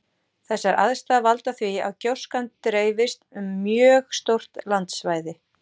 Þessar aðstæður valda því að gjóskan dreifist um mjög stórt landsvæði.